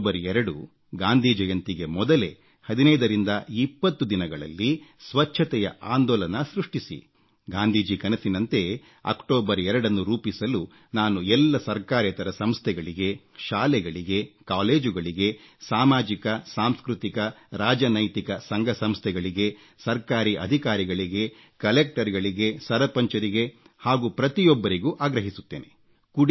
October 2 Gandhi ಜಯಂತಿಗೆ ಮೊದಲೇ 1520 ದಿನಗಳಲ್ಲಿ ಸ್ವಚ್ಛತೆಯ ಆಂದೋಲನ ಸೃಷ್ಟಿಸಿ ಗಾಂಧೀಜಿ ಕನಸಿನಂತೆ ಅಕ್ಟೋಬರ್ 2ನ್ನು ರೂಪಿಸಲು ನಾನು ಎಲ್ಲ ಸರ್ಕಾರೇತರ ಸಂಸ್ಥೆಗಳಿಗೆ ಶಾಲೆಗಳಿಗೆ ಕಾಲೇಜುಗಳಿಗೆ ಸಾಮಾಜಿಕ ಸಾಂಸ್ಕೃತಿಕ ರಾಜತಾಂತ್ರಿಕ ಸಂಘ ಸಂಸ್ಥೆಗಳಿಗೆ ಸರ್ಕಾರಿ ಅಧಿಕಾರಿಗಳಿಗೆ ಕಲೆಕ್ಟರ್ಗಳಿಗೆ ಸರಪಂಚರಿಗೆ ಹಾಗೂ ಪ್ರತಿಯೊಬ್ಬರಿಗೂ ಆಗ್ರಹಿಸುತ್ತೇನೆ